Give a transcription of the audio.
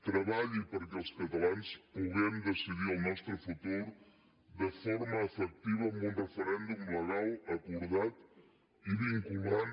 treballi perquè els catalans puguem decidir el nostre futur de forma efectiva amb un referèndum legal acordat i vinculant